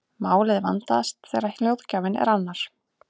málið vandast þegar hljóðgjafinn er annar